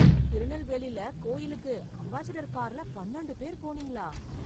திருநெல்வேலில கோயிலுக்கு, அம்பாஸடர் கார்ல பன்னெண்டு பேர் போனீங்களா...